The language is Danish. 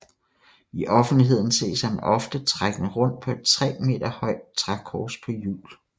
I offentligheden ses han ofte trækkende rundt på et tre meter højt trækors på hjul